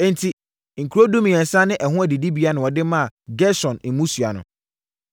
Enti, nkuro dumiɛnsa ne ɛho adidibea na wɔde maa Gerson mmusua no.